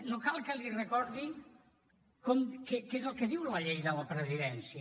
no cal que li recordi què és el que diu la llei de la presidència